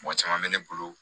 Mɔgɔ caman bɛ ne bolo